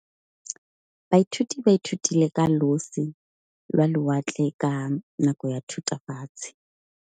Baithuti ba ithutile ka losi lwa lewatle ka nako ya Thutafatshe.